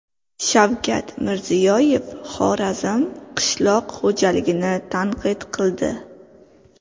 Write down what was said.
Shavkat Mirziyoyev Xorazm qishloq xo‘jaligini tanqid qildi.